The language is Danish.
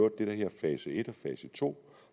det der hedder fase et og fase to